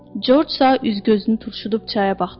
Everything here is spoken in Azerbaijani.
Corcsa üzgözünü turşudub çaya baxdı.